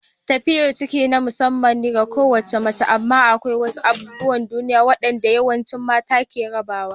Tafiyar ciki na musamman ga kowace mace amma akwai wasu abubuwan duniya waɗanda yawancin mata ke rabawa.